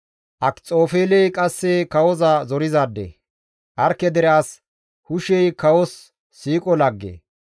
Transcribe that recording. Akxofeeley qasse kawoza zorizaade; Arkke dere as Hushey kawos siiqo lagge.